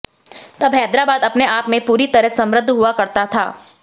तब हैदराबाद अपने आप में पूरी तरह समृद्ध हुआ करता था